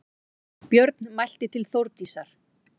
Björn mælti til Þórdísar